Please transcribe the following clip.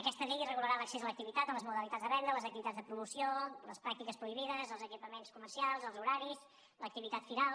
aquesta llei regularà l’accés a l’activitat les modalitats de venda les activitats de promoció les pràctiques prohibides els equipaments comercials els horaris l’activitat firal